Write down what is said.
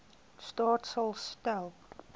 staat sal stel